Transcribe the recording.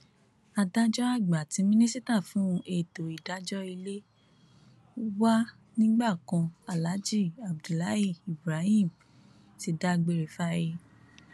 adájọ àgbà àti mínísítà fún ètò ìdájọ ilé wa nígbà kan aláàjì abdullahi ibrahim ti dágbére fáyé